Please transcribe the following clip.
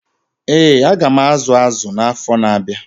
Ee, aga m azu azụ na-afọ na-abịa.